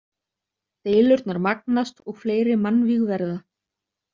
Deilurnar magnast og fleiri mannvíg verða.